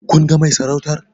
Kun ga mai sarautar?